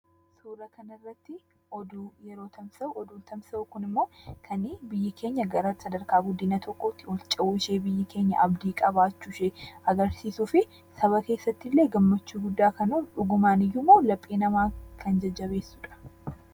Suuraa kana irratti oduun yeroo tamsa'u, oduun kunimmoo kan biyyi keenya sadarkaa guddina tokkootti ol cehuu ishee, biyyi keenya abdii qabaachuu ishee kan agarsiisuufi saba keessattillee gammachuu guddaa kan uumu, dhugumayyuummoo laphee namaa kan jajjabeessudha.